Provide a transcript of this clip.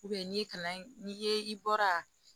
n'i ye kalan in n'i ye i bɔra